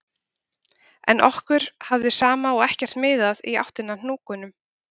En okkur hafði sama og ekkert miðað í áttina að hnúknum